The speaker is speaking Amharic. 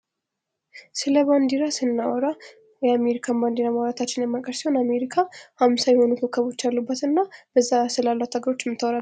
ስለ ባንዲራ ስናወራ የአሚሪካን ባንዲራ ማውራታችን የማይቀር ሲሆን አሜሪካ አምሳ የሆኑ ኮከቦች ያሉበት እና እዛ ስላሉት ሀገሮች የሚታወራ ነው